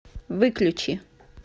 выключи